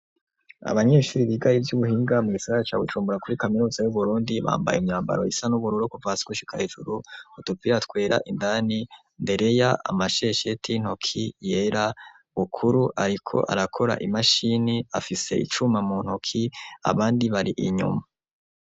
Abanyeshuri biga ivy'ubuhinga, mu gisagara ca Bujumbura, kuri kaminuza y'Uburundi; bambaye imyambaro isa n’ubururu kuva hasi gushika hejuru, utupira twera indani, Ndereya amashesheti y’intoki yera, Bukuru ariko arakora imashini, afise icuma mu ntoki, abandi bari inyuma.